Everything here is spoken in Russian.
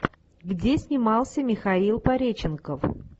где снимался михаил пореченков